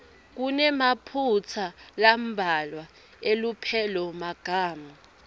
kunemaphutsa lambalwa elupelomagama